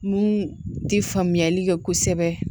Mun ti faamuyali kɛ kosɛbɛ